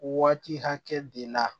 Waati hakɛ de la